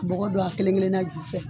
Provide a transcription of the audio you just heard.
Bɔgɔ don a kelen kelenna ju fɛ.